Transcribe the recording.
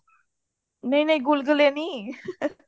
ਨਹੀਂ ਨਹੀਂ ਗੁਲਗੁੱਲੇ ਨਹੀਂ